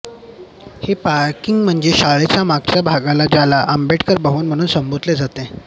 हे पार्किंग म्हणजे शाळेच्या मागच्या भागाला ज्याला आंबेडकर भवन म्हणून संबोधले गेले